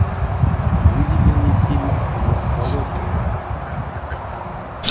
выведи мне фильм миксология